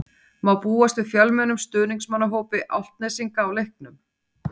Má búast við fjölmennum stuðningsmannahópi Álftnesinga á leiknum?